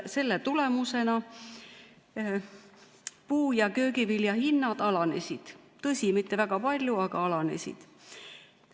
Selle tulemusena puu- ja köögivilja hinnad alanesid, tõsi, mitte väga palju, aga alanesid.